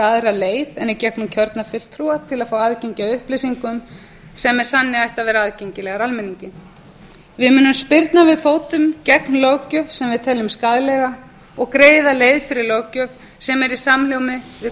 aðra leið en í gegnum kjörna fulltrúa til að fá aðgengi að upplýsingum sem með sanni ættu að vera aðgengilegar almenningi við munum spyrna við fótum gegn löggjöf sem við teljum skaðlega og greiða leið fyrir löggjöf sem er í samhljómi við